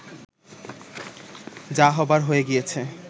যা হবার হয়ে গিয়েছে